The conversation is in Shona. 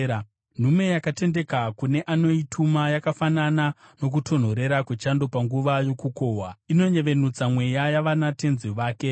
Nhume yakatendeka kune anoituma yakafanana nokutonhorera kwechando panguva yokukohwa; inonyevenutsa mweya yavanatenzi vake.